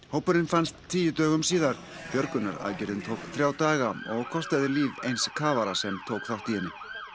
hópurinn fannst tíu dögum síðar björgunaraðgerðin tók þrjá daga og kostaði líf eins kafara sem tók þátt í henni